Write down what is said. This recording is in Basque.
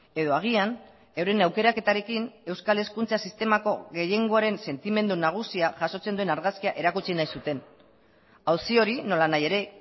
edo agian euren aukeraketarekin euskal hezkuntza sistemako gehiengoaren sentimendu nagusia jasotzen duen argazkia erakutsi nahi zuten auzi hori nola nahi ere